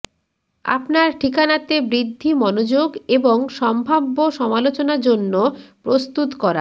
আপনার ঠিকানাতে বৃদ্ধি মনোযোগ এবং সম্ভাব্য সমালোচনা জন্য প্রস্তুত করা